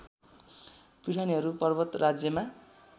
प्युठानीहरू पर्वत राज्यमा